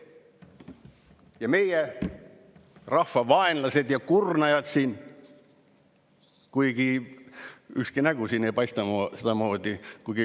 Ja meie rahva vaenlased ja kurnajad, kuigi ükski nägu siin ei paista sedamoodi.